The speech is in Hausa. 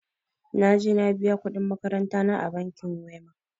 Na je na biya kuɗin makarantana a bankin wema.